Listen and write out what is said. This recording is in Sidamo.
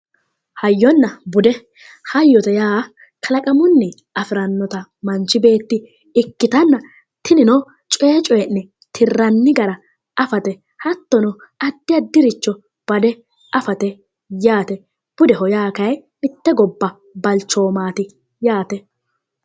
Hayyonna bude hayyote yaa Kalaqamunni afirannota manichi beet ikkitanna tinino coye coyi'ne tirranni gara afate hattono addi addi richo bade afate yaate budeho yaa kayi mitte gobba balichoomati yaate